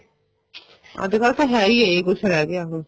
ਅੱਜਕਲ ਤਾਂ ਹੈ ਈ ਇਹ ਕੁੱਝ ਰਹਿ ਗਿਆ ਹੁਣ